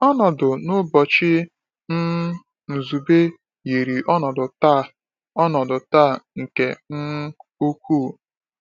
Ọnọdụ n’ụbọchị um Nzube yiri ọnọdụ taa ọnọdụ taa nke um ukwuu.